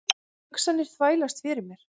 Hugsanirnar þvælast fyrir mér.